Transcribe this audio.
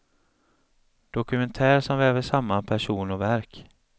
Dokumentär som väver samman person och verk.